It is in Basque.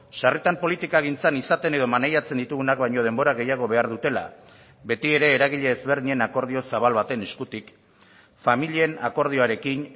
sarritan politikagintzan izaten edo maneiatzen ditugunak baino denbora gehiago behar dutela beti ere eragile ezberdinen akordio zabal baten eskutik familien akordioarekin